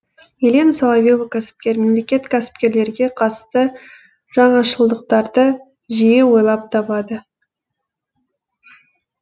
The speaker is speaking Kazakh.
елена соловье ва кәсіпкер мемлекет кәсіпкерлерге қатысты жаңашылдықтарды жиі ойлап табады